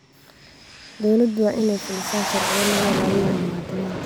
Dawladdu waa inay fulisaa sharciyo lagu ilaalinayo muwaadiniinta.